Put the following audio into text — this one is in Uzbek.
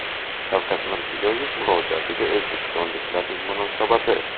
Shavkat Mirziyoyev murojaatiga o‘zbekistonliklarning munosabati.